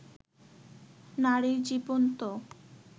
নারীর জীবন তো